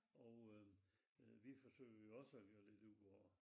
Og øh vi forsøger jo også at gøre lidt ud af det